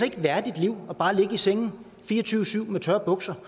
et værdigt liv bare at ligge i sengen fire og tyve syv med tørre bukser